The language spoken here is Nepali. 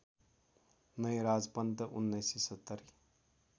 नयराज पन्त १९७०